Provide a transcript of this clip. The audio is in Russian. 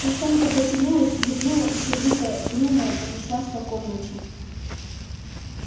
каштанка потянулась зевнула и сердитая угрюмая прошлась по комнате